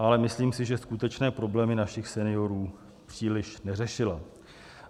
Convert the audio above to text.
Ale myslím si, že skutečné problémy našich seniorů příliš neřešila.